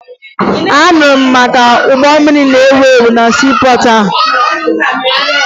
Anụrụ m maka ụgbọ mmiri na-ewu ewu na siipọọtụ a